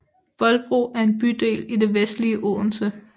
Bolbro er en bydel i det vestlige Odense